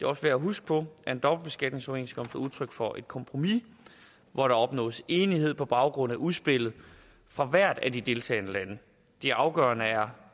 også værd at huske på at en dobbeltbeskatningsoverenskomst er udtryk for et kompromis hvor der opnås enighed på baggrund af udspillet fra hvert af de deltagende lande det afgørende er